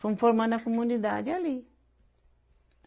Fomos formando a comunidade ali.